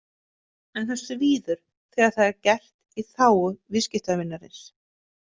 En það svíður þegar það er gert í „þágu viðskiptavinarins“.